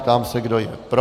Ptám se, kdo je pro.